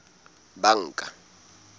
banka